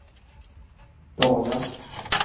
dagar